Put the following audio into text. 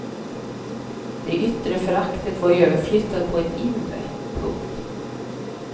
Det yttre föraktet var överflyttat på ett inre. punkt